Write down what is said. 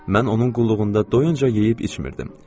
Mən onun qulluğunda doyuncayeyib içmirdim.